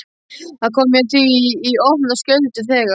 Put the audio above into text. Það kom mér því í opna skjöldu þegar